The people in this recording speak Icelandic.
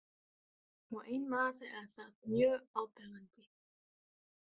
Og einn maður er þar mjög áberandi.